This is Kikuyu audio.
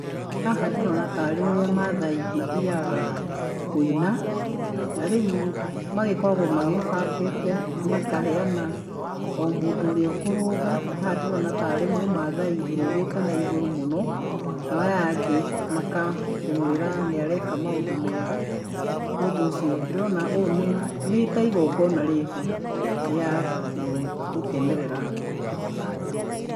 Haha ndīrīona tarī ūrīa maathaī mathīaaga kūīna na rīu magīkoragwo magībangīte na makaheana o mūndū ūria ūkurūga haha ndīorona tarī mūmaathai ūrūgite naigūrū muno naaya angī mangakīmūīra nīa reka maūndū mega ni ūndū ūcīo ndīrīona onī nīta īgogona rīho rīa gū gūkenerera